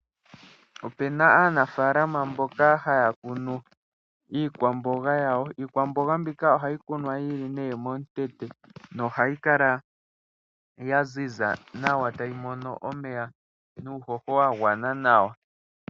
Opuna aanafaalama mboka haya kunu iikwamboga yawo.. iikwamboga mbika ohayi kunwa yili momutete nohayi kala yaziza nawa tayi mono omeya nuuhoho wagwana nawa.